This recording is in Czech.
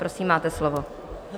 Prosím, máte slovo.